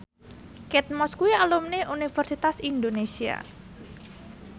Kate Moss kuwi alumni Universitas Indonesia